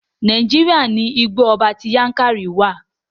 Nàíjíríà ní Igbó ọba ti Yankari wa.